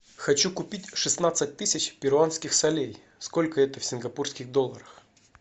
хочу купить шестнадцать тысяч перуанских солей сколько это в сингапурских долларах